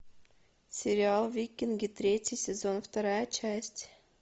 сериал викинги третий сезон вторая часть